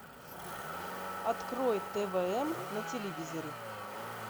открой твм на телевизоре